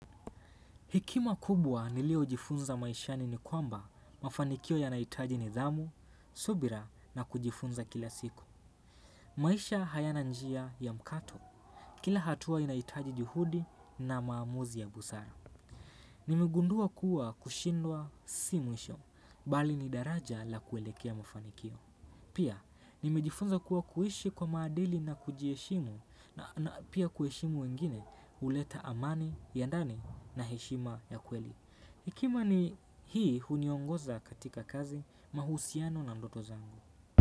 Hekima kubwa niliyo jifunza maishani ni kwamba mafanikio ya nahitaji nidhamu, subira na kujifunza kila siku. Maisha hayana njia ya mkato. Kila hatua inahitaji juhudi na maamuzi ya busara. Nimegundua kuwa kushindwa si mwisho, bali ni daraja la kuelekea mafanikio. Pia, nimejifunza kuwa kuishi kwa maadili na kujieshimu na pia kuheshimu wengine huleta amani, ya ndani na heshima ya kweli. Hekima ni hii huniongoza katika kazi mahusiano na ndoto zangu.